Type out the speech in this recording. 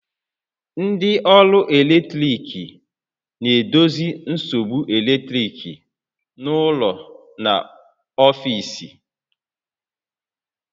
Ndị ọrụ eletrik na-edozi nsogbu eletrik n'ụlọ na n'ọfiisi